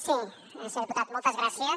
sí senyor diputat moltes gràcies